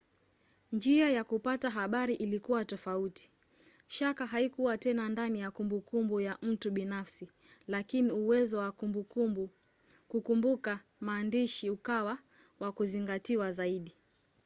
njia ya kupata habari ilikuwa tofauti. shaka haikuwa tena ndani ya kumbukumbu ya mtu binafsi lakini uwezo wa kukumbuka maandishi ukawa wa kuzingatiwa zaidi